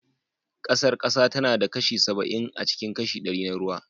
Ƙasar ƙasa tana da kashi saba'in acikin kashi ɗari na ruwa